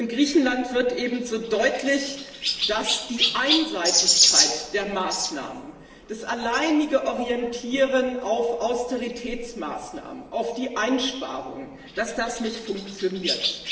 In Griechenland wird ebenso deutlich, dass die Einseitigkeit der Maßnahmen, die alleinige Orientierung auf Austeritätsmaßnahmen, auf Einsparungen nicht funktioniert.